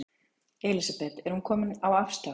Elísabet: Er hún komin á afslátt?